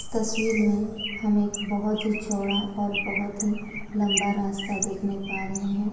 इस तस्वीर में हम एक बहुत ही चौड़ा और बहुत ही लम्बा रास्ता देखने पा रहे है।